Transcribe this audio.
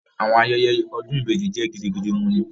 Awọn ayẹyẹ odun ibeji jẹ gidigidi wuni